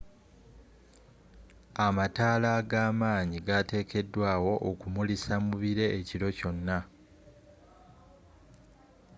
amataala ag'amanyi gateegekedwa okumulisa mubire ekiro kyona